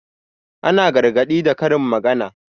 Ana gargaɗi da karin magana.